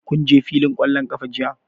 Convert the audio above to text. Kun je fillin ƙwallon ƙafa jiya?